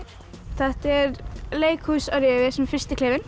þetta er leikhús